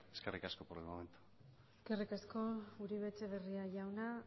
eskerrik asko por el momento eskerrik asko uribe etxebarria jauna